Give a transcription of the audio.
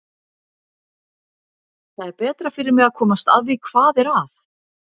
Það er betra fyrir mig að komast að því hvað er að.